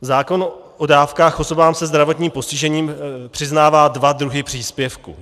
Zákon o dávkách osobám se zdravotním postižením přiznává dva druhy příspěvku.